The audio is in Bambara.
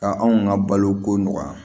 Ka anw ka baloko nɔgɔya